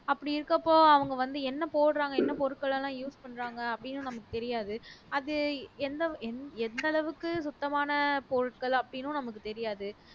அப்படி இருக்கப்போ அவங்க வந்து என்ன போடுறாங்க என்ன பொருட்கள்லாம் use பண்றாங்க அப்படின்னும் நமக்கு தெரியாது அது எந்த எந்த எந்த அளவுக்கு சுத்தமான பொருட்கள் அப்படின்னும் நமக்கு தெரியாது